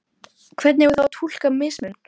Hvernig eigum við þá að túlka mismun?